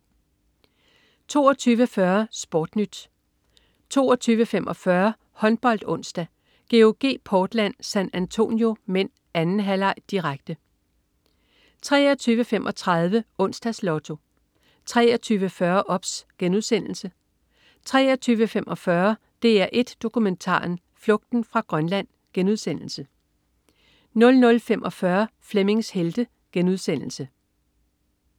22.40 SportNyt 22.45 HåndboldOnsdag: GOG-Portland San Antonio (m). 2. halvleg, direkte 23.35 Onsdags Lotto 23.40 OBS* 23.45 DR1 Dokumentaren. Flugten fra Grønland* 00.45 Flemmings Helte*